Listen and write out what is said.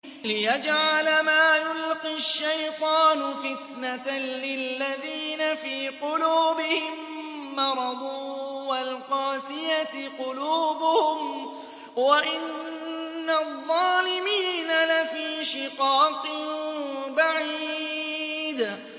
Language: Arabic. لِّيَجْعَلَ مَا يُلْقِي الشَّيْطَانُ فِتْنَةً لِّلَّذِينَ فِي قُلُوبِهِم مَّرَضٌ وَالْقَاسِيَةِ قُلُوبُهُمْ ۗ وَإِنَّ الظَّالِمِينَ لَفِي شِقَاقٍ بَعِيدٍ